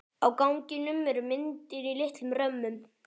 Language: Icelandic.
Á ganginum eru myndir í litlum römmum.